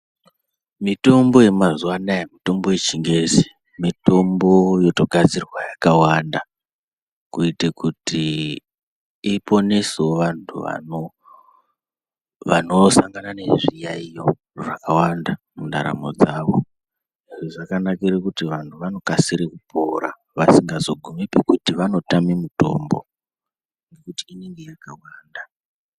Mitombo yemazuwa anaya mitombo yeChiNgezi mitombo yotogadzirwa yakawanda, kuite kuti iponesewo vantu vanosangana nezviyaiyo zvakawanda mundaramo dzavo. Izvi zvakanakire kuti vanhu vanokasire kupora vasingazotame mutombo ngekuti inenge yakawanda.